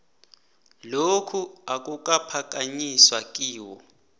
lokhu akukaphakanyiswa yiwho